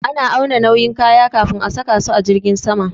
Ana auna nauyin kaya kafin a saka su a jirgin sama